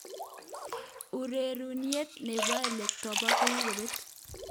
Ororunenyin nebo eletebto kokikobet.